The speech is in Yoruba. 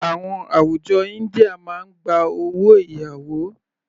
Àwọn àwùjọ India máa gba owó ìyàwó.